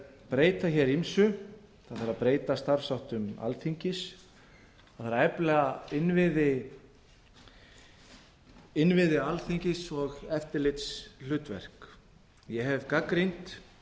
breyta hér ýmsu það þarf að breyta hér starfsháttum alþingis það þarf að efla innviði alþingis og eftirlitshlutverk ég hef gagnrýnt þann